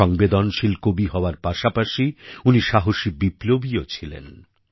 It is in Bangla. সংবেদনশীল কবি হওয়ার পাশাপাশি উনি সাহসী বিপ্লবীও ছিলেন